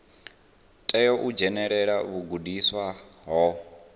tea u dzhenelela vhugudisi ho